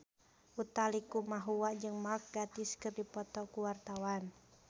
Utha Likumahua jeung Mark Gatiss keur dipoto ku wartawan